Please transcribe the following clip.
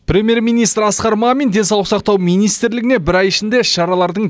премьер министр асқар мамин денсаулық сақтау министрлігіне бір ай ішінде іс шаралардың